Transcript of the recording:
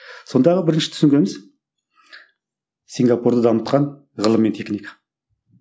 сондағы бірінші түсінгеніміз сингапурды дамытқан ғылым мен техника